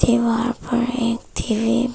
दीवार पर एक टी_वी --